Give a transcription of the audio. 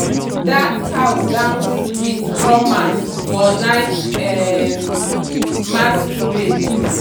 that cow dance with drummers for night um masquerade.